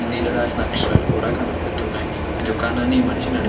హిందీ లో రాసిన అక్షరాలు కూడ కనిపిస్తున్నాయి. ఈ దుకాణాన్ని ఈ మనిషి నడుపు --